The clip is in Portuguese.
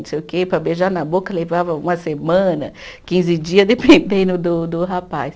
Não sei o quê, para beijar na boca levava uma semana, quinze dia, dependendo do do rapaz.